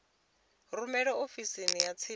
rumele ofisini ya tsini ya